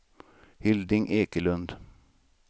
Hilding Ekelund